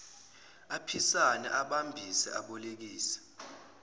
aphisane abambise abolekise